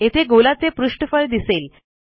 येथे गोलाचे पृष्ठफळ दिसेल